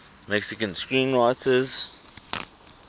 mexican screenwriters